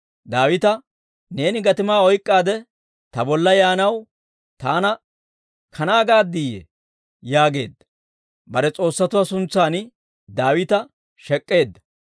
Daawita, «Neeni gatimaa oyk'k'aade ta bolla yaanaw, taana kanaa gaaddiyye?» yaageedda; bare s'oossatuwaa suntsan Daawita shek'k'eedda.